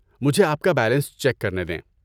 مجھے آپ کا بیلنس چیک کرنے دیں۔